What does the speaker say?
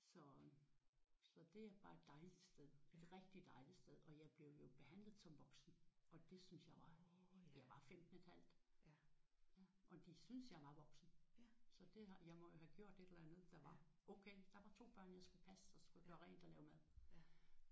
Så det er bare et dejligt sted. Et rigtig dejligt sted. Og jeg blev jo behandlet som voksen og det syntes jeg var jeg var 15,5 og de syntes jeg var voksen så det har jeg må jo have gjort et eller andet der var okay. Der var 2 børn jeg skulle passe og så skulle jeg gøre rent og lave mad